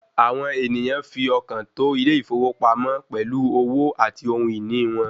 Àwọn ènìyàn fi ọkàn tó ilé ìfowópamọ́ pẹ̀lú owó àti ohun ìní wọn.